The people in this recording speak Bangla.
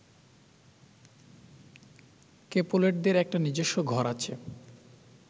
ক্যাপুলেটদের একটা নিজস্ব ঘর আছে